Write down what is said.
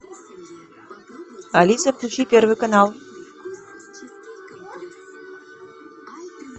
алиса включи первый канал